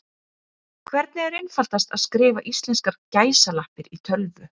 Hvernig er einfaldast að skrifa íslenskar gæsalappir í tölvu?